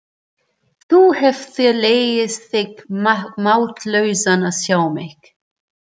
Þú hefðir hlegið þig máttlausan að sjá mig.